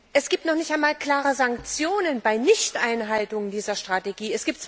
Es gibt noch nicht einmal klare Sanktionen bei einer Nichteinhaltung dieser Strategie.